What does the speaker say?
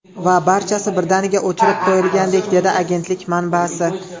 Va barchasi birdaniga o‘chirib qo‘yilgandek”, – dedi agentlik manbasi.